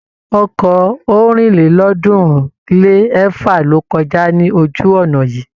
Ọkọ̀ ọ̀rìnlélọ́ọ̀ọ́dúnrún-lé-ẹ̀fa ló kọjá ní ojú-ọ̀nà yìí.